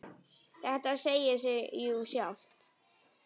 Þetta segir sig jú sjálft!